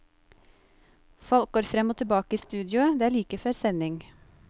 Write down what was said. Folk går frem og tilbake i studioet, det er like før sending.